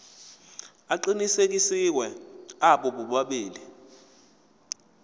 aqinisekisiwe abo bobabili